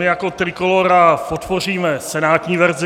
My jako Trikolóra podpoříme senátní verzi.